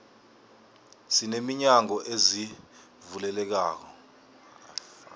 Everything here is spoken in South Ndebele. sine minyango ezivulekelako